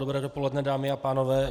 Dobré dopoledne, dámy a pánové.